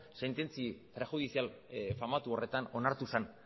sententzi prejudizial famatu horretan onartu zen